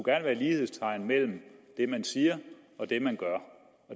være lighedstegn mellem det man siger og det man gør